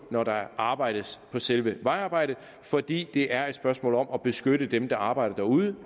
når der arbejdes på selve vejarbejdet fordi det er et spørgsmål om at beskytte dem der arbejder derude